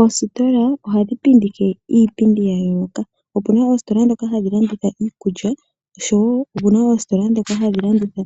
Oositola , ohadhi pindike iipindi yayooloka, opuna oositola dhoka hadhi landitha iikulya , oshowo opuna oositola dhoka hadhi landitha